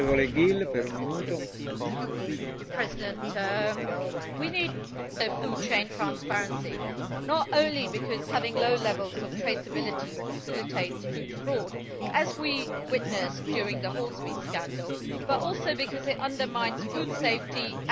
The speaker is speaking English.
Mr President, we need more food chain transparency, not only because having low levels of traceability facilitates food fraud, as we witnessed during the horsemeat scandal, but also because it undermines food safety and animal welfare.